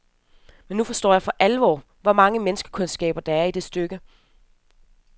Men nu forstår jeg for alvor, hvor megen menneskekundskab der er i det stykke.